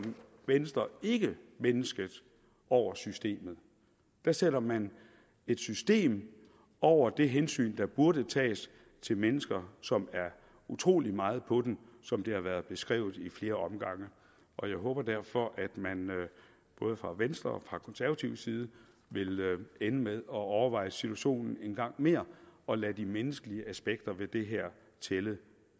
venstre ikke mennesket over systemet der sætter man et system over det hensyn der burde tages til mennesker som er utrolig meget på den som det har været beskrevet i flere omgange og jeg håber derfor at man både fra venstres og konservatives side vil ende med at overveje situationen en gang mere og lade de menneskelige aspekter ved det her tælle